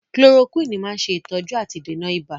Chloroquine máa ń ṣe ìtọ́jú àti ìdènà ibà